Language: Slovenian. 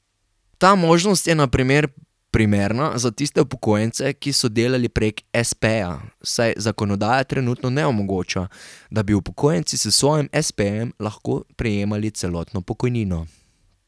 Ta možnost je na primer primerna za tiste upokojence, ki so delali prek espeja, saj zakonodaja trenutno ne omogoča, da bi upokojenci s svojim espejem lahko prejemali celotno pokojnino.